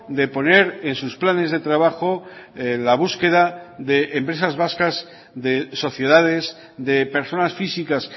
de poner en sus planes de trabajo la búsqueda de empresas vascas de sociedades de personas físicas